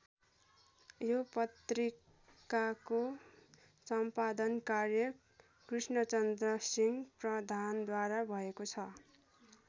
यो पत्रिकाको सम्पादन कार्य कृष्णचन्द्र सिंह प्रधानद्वारा भएको छ।